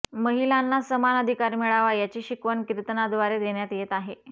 महिलांना समान अधिकार मिळावा याची शिकवण कीर्तनाद्वारे देण्यात येत आहे